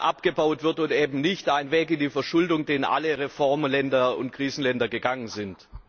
abgebaut wird, und eben nicht ein Weg in die Verschuldung, den alle Reformer Länder und Krisenländer gegangen sind?